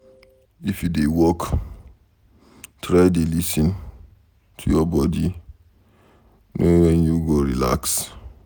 If you dey work, try dey lis ten to your body know wen you go relax.